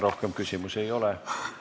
Rohkem küsimusi ei ole.